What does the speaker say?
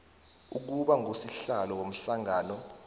ukuba ngusihlalo womhlangano